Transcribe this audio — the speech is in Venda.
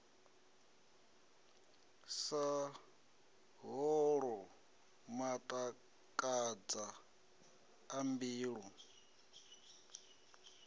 sa holwu matakadza a mbilu